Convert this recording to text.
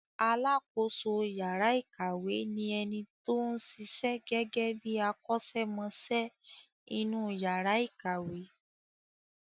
Alákoso yàrá ìkàwé ni ẹni tó ń ṣiṣẹ́ gẹ́gẹ́ bí akọ́ṣẹ́mọṣẹ́ inú yàrà ìkàwé.